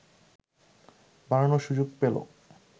বাড়ানোর সুযোগ পেল